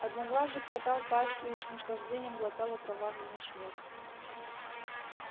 одноглазый хватал пастью и с наслаждением глотал окровавленный снег